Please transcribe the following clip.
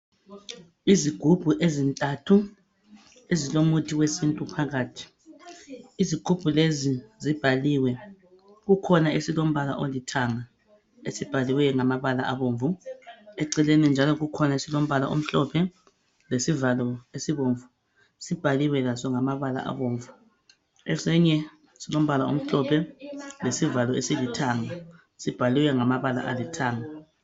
Izigubhu ezintanthu ezilomuthi wesintu phakathi izigubhu u lezi zibhaliwe. Kukhona esilombala ala olithanga esibhaliweyo ngamabala abomvu eceleni njalo kukhona esilombala pala omhlophe lesivalo esibomvu sibhaliwe laso ngamabala abomvu esinye silombala ala omhlophe lesivalo esilithanga sibhaliwe ngamabala alithanga.